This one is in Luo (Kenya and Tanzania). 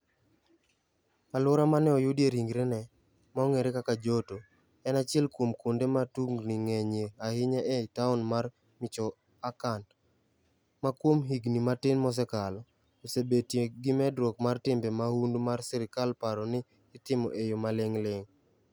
Alwora ma ne oyudie ringrene, ma ong'ere kaka Joto, en achiel kuom kuonde ma tungini ng'enyie ahinya e taon mar Michoacán, ma kuom higini matin mosekalo, osebetie gi medruok mar timbe mahundu ma sirkal paro ni itimo e yo maling'ling '.